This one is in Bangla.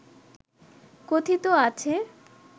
কথিত আছে